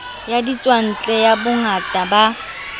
ya ditswantle ya bongaka ba